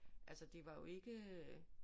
Altså det var jo ikke øh